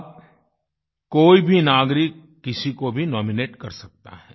अब कोई भी नागरिक किसी को भी नॉमिनेट कर सकता है